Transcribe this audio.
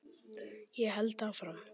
Ég held áfram